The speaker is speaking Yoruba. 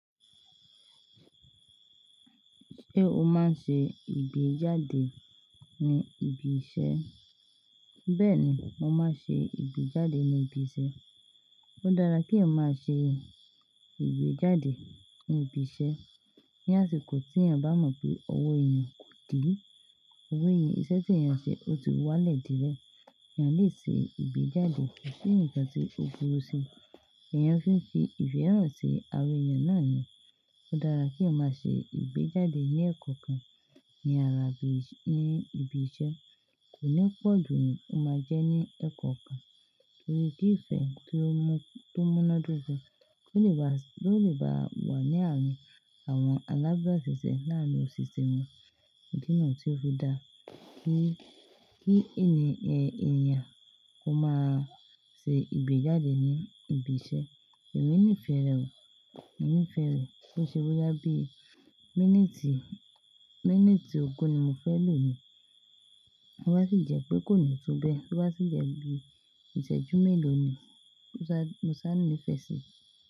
Ṣé o máa ń ṣe ìgbéjáde ní ibi iṣẹ́? Bẹ́ẹ̀ni, mo máa ń ṣe ìgbéjáde ní ibi iṣẹ́. Ó dára kí ẹyan máa ṣe ìgbéjáde ní ibi iṣẹ́. Ní àsìkò tí èèyàn bá mọ̀ pé owó èèyàn kò dí, owó èèyàn, iṣẹ́ tí èèyàn ń ṣe ó ti wá lẹ̀ dírẹ̀, èèyàn lè ṣe ìgbéjáde pẹ̀lú ǹkan tí ó burú sí i, èèyàn fi ń fi ìfẹ́ hàn sí ara èèyàn náà ni. Ó dára kí ẹ máa ṣe ìgbéjáde ní ẹ́kọ̀kan ní ara ibi, ní ibi iṣẹ́. Kò ní pọ̀ ju òun tó máa jẹ́ ní ẹ́kọ̀kan, torí pé ìfẹ́ tó múnádóko ló lè bá, ló lè bá wà ní àárín àwọn alábáṣiṣẹ́ náà lóṣìṣẹ́ wọn. Ídí nu tí ó fí dáa kí, kí ènìyàn, ẹni èèyàn kó máa ṣe ìgbéjáde ní ibi iṣẹ́. Èmi nífẹ̀ẹ́ rẹ̀ o. Èmi nífẹ̀ẹ́ rẹ̀ kó ṣe boyá bí i. Mínúùtì, mínúùtì ogún ni mo fẹ́ lò ní. Ó bá sì jẹ́ pé kò ní túbé, tó bá sì jẹ́ bí ìṣẹ́jú mélòó ni mo sá, mo sá nífẹ̀ẹ́ sí i.